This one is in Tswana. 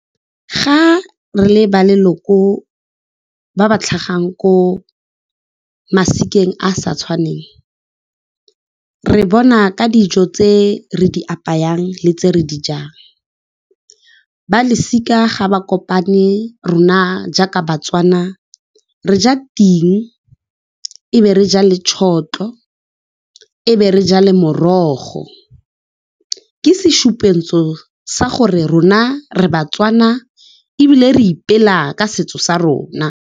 Ga re le ba leloko ba ba tlhagang ko masikeng a a sa tshwaneng, re bona ka dijo tse re di apayang le tse re di jang. Ba losika ga ba kopane, rona jaaka baTswana re ja ting, e be re ja le tšhotlho, e be re ja le morogo. Ke sešupentso sa gore rona re baTswana ebile re ipela ka setso sa rona.